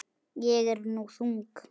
Ég er nú þung.